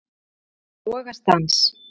Hana rak í rogastans.